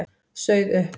Sauð upp.